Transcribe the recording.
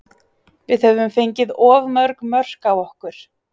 Við höfum fengið of mörg mörk á okkur.